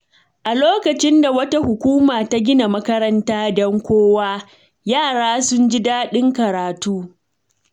A lokacin da wata hukuma ta gina makaranta don kowa, yara sun ji daɗin karatu.